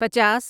پچاس